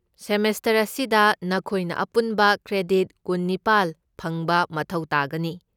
Semester ꯑꯁꯤꯗ ꯅꯈꯣꯏꯅ ꯑꯄꯨꯟꯕ ꯀ꯭ꯔꯦꯗꯤꯠ ꯀꯨꯟꯅꯤꯄꯥꯜ ꯐꯪꯕ ꯃꯊꯧ ꯇꯥꯒꯅꯤ꯫